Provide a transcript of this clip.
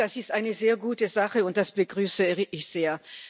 Das ist eine sehr gute Sache, und das begrüße ich sehr.